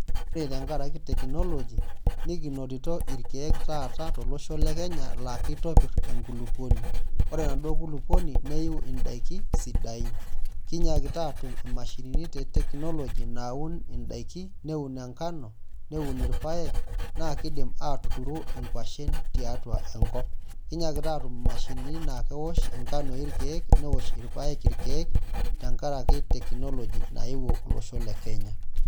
Ore tenkaraki technology nikinotito irkiek taata tolosho lekenya la kitobir enkulukuoni ore enaduo kulukuoni neiu indakin sidain kinyakita atum imashinini te technology naun indakini neaun enkano, neun irpaek na kidim atuturu nkwashen tiatua enkop, kinayakita atum imashinini nakewosh nkanoi irkiek newosh irpaek irkiek tenkaraki technology naewuo olosho le kenya